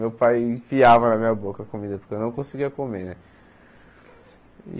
Meu pai enfiava na minha boca a comida, porque eu não conseguia comer, né?